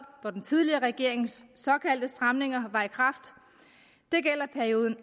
hvor den tidligere regerings såkaldte stramninger var i kraft det gælder perioden